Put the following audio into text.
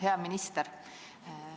Hea minister!